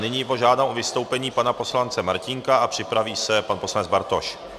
Nyní požádám o vystoupení pana poslance Martínka a připraví se pan poslanec Bartoš.